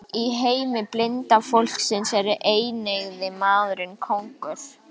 Í heimi blinda fólksins er eineygði maðurinn konungur.